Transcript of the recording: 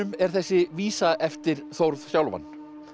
er þessi vísa eftir Þórð sjálfan